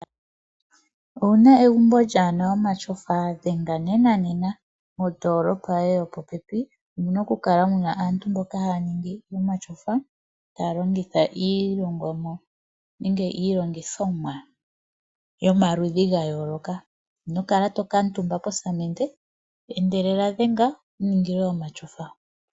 Owu na egumbo lyaana omatyofa? Dhenga nenanena mondoolopa yoye yopopepi omu na okukala mu na aantu mboka haya niingi omatyofa taya longitha iilongithomwa yomaludhi ga yooloka. Ino kala to kuutumba posamende. Endelela dhenga wu ningilwe omatyofa.